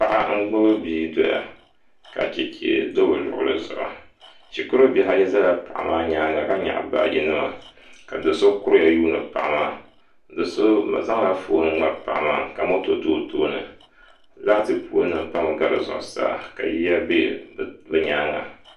Paɣa n gbubi bia doya ka chɛchɛ do bi luɣuli zuɣu shikuru bihi ayi ʒɛla paɣa maa nyaanga ka nyaɣi baaji ŋo maa ka do so kuriya yuundi paɣa maa do so zaŋla foon ŋmari paɣa maa ka moto do o tooni laati pool nim pami gari zuɣusaa ka yiya bɛ bi nyaanga